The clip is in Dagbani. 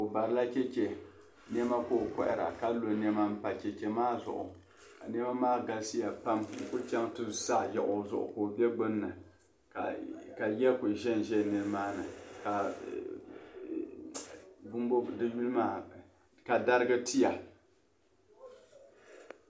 Obarila cheche nema ka ɔ kohira ka lɔ nema n pa cheche maa zuɣu ka nema galisiya pam n ku chaŋ ti saa yaɣi ɔczuɣu ka ɔ be gbunni, ka ya kuli ʒɛn ʒɛ nimaani ka darigi tiya,